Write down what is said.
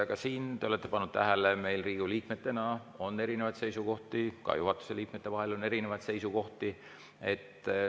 Ka siin, te olete tähele pannud, on meil Riigikogu liikmetena erinevaid seisukohti, ka juhatuse liikmetel on erinevaid seisukohti.